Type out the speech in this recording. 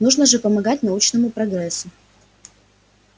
нужно же помогать научному прогрессу